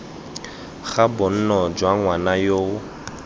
ga bonno jwa ngwana yoo